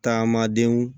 Taama denw